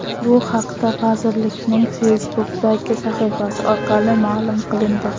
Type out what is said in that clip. Bu haqda vazirlikning Facebook’dagi sahifasi orqali ma’lum qilindi .